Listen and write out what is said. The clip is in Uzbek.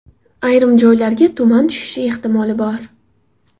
Ayrim joylarga tuman tushishi ehtimoli bor.